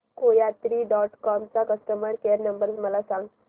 कोयात्री dot com चा customer care number मला सांगा